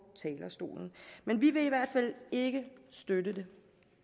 talerstolen vi vil i hvert fald ikke støtte det